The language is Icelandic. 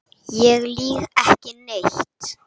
Ég lýg ekki neitt.